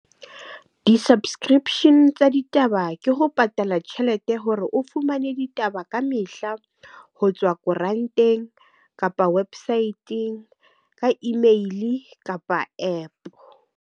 Di-subscription tsa ditaba ke ho patala tjhelete hore o fumane ditaba ka mehla ho tswa koranteng kapa website-ng ka email kapa APP.